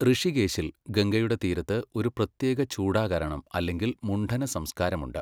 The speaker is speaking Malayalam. ഋഷികേശിൽ, ഗംഗയുടെ തീരത്ത്, ഒരു പ്രത്യേക ചൂഡാകരണം അല്ലെങ്കിൽ മുണ്ഡന സംസ്ക്കാരമുണ്ട്.